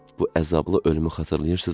Bu əzablı ölümü xatırlayırsızmı?